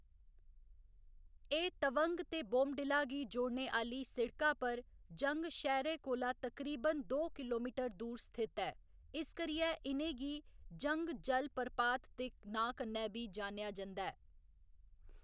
एह्‌‌ तवंग ते बोमडिला गी जोड़ने आह्‌ली सिड़का पर जंग शैह्‌रै कोला तकरीबन दो किलोमीटर दूर स्थित ऐ, इस करियै इ'नें गी जंग जलप्रपात दे नांऽ कन्नै बी जानेआ जंदा ऐ।